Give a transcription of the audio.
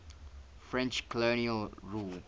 french colonial rule